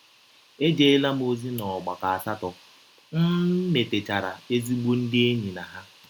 Ejeela m ọzi n’ọgbakọ asatọ, m metechara ezịgbọ ndị enyi na ha.